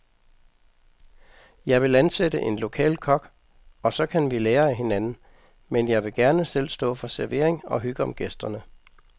Jeg vil ansætte en lokal kok, og så kan vi lære af hinanden, men jeg vil gerne selv stå for servering og hygge om gæsterne.